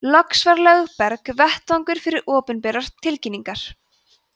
loks var lögberg vettvangur fyrir opinberar tilkynningar